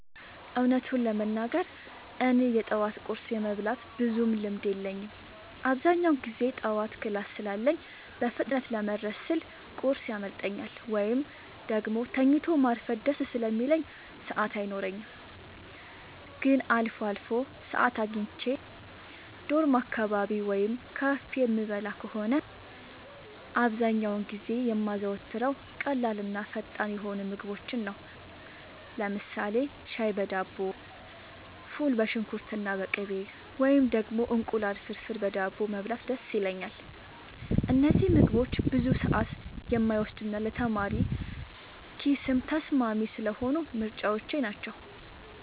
እውነቱን ለመናገር እኔ የጠዋት ቁርስ የመብላት ብዙም ልምድ የለኝም። አብዛኛውን ጊዜ ጠዋት ክላስ ስላለኝ በፍጥነት ለመድረስ ስል ቁርስ ያመልጠኛል፤ ወይም ደግሞ ተኝቶ ማርፈድ ደስ ስለሚለኝ ሰዓት አይኖረኝም። ግን አልፎ አልፎ ሰዓት አግኝቼ ዶርም አካባቢ ወይም ካፌ የምበላ ከሆነ፣ አብዛኛውን ጊዜ የማዘወትረው ቀላልና ፈጣን የሆኑ ምግቦችን ነው። ለምሳሌ ሻይ በዳቦ፣ ፉል በሽንኩርትና በቅቤ፣ ወይም ደግሞ እንቁላል ፍርፍር በዳቦ መብላት ደስ ይለኛል። እነዚህ ምግቦች ብዙ ሰዓት የማይወስዱና ለተማሪ ኪስም ተስማሚ ስለሆኑ ምርጫዎቼ ናቸው።